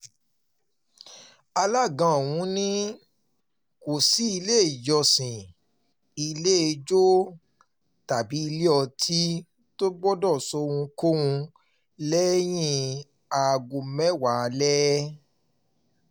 alága ọ̀hún ni um kò sí ilé-ìjọsìn ilé-ijó tàbí ilé-ọtí tó gbọdọ̀ ṣohunkóhun lẹ́yìn aago mẹ́wàá um alẹ́